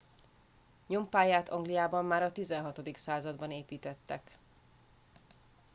nyompályát angliában már a 16. században építettek